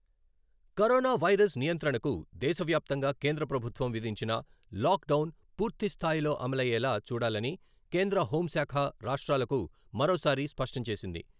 Corona virus నియంత్రణకు దేశవ్యాప్తంగా కేంద్ర ప్రభుత్వం విధించిన లాక్ డౌన్ పూర్తిస్థాయిలో అమలయ్యేలా చూడాలని కేంద్ర హోంశాఖ రాష్ట్రాలకు మరోసారి స్పష్టం చేసింది.